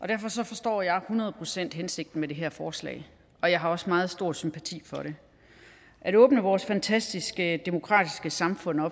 derfor forstår jeg hundrede procent hensigten med det her forslag og jeg har også meget stor sympati for det at åbne vores fantastiske demokratiske samfund